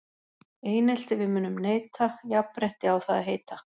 Einelti við munum neita, jafnrétti á það að heita.